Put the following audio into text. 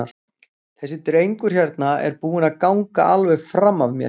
Þessi drengur hérna er búinn að ganga alveg fram af mér.